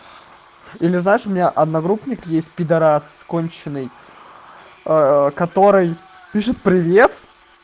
или знаешь у меня одногруппник есть пидарас конченный который пишет привет